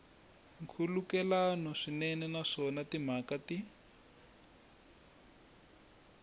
nkhulukelano swinene naswona timhaka ti